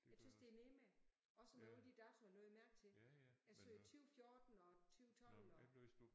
Jeg tys det er nemmere også med alle de datoer lagde jeg mærke til. Jeg sagde 20 14 og 20 12 og